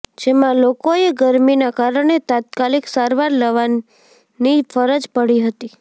જેમાં લોકોએ ગરમીના કારણે તાત્કાલિક સારવાર લવાની ફરજ પડી હતી